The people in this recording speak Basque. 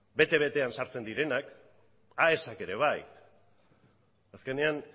bete betean sartzen direnak aesak ere bai azkenean